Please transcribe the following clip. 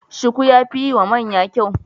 Shuku ya fi yiwa maya kyau.